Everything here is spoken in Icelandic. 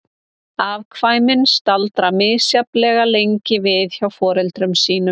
Afkvæmin staldra misjafnlega lengi við hjá foreldrum sínum.